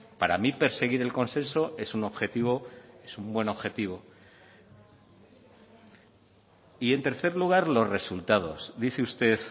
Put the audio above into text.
para mí perseguir el consenso es un objetivo es un buen objetivo y en tercer lugar los resultados dice usted